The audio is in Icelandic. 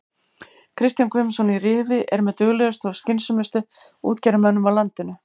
Kristján Guðmundsson í Rifi er með duglegustu og skynsömustu útgerðarmönnum á landinu.